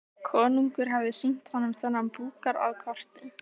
Konungur hafði sýnt honum þennan búgarð á korti.